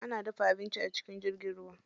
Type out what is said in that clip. Ana dafa abinci a cikin jirgin ruwa.